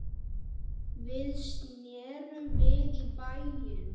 Við snerum við í bæinn.